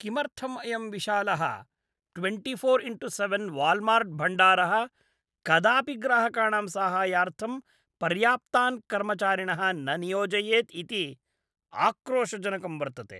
किमर्थं अयं विशालः ट्वेण्टिफोर् इण्टु सेवेन् वाल्मार्ट्भण्डारः कदापि ग्राहकाणां साहाय्यार्थं पर्याप्तान् कर्मचारिणः न नियोजयेत् इति आक्रोशजनकं वर्तते।